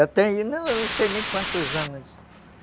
Eu tenho, não sei nem quantos anos.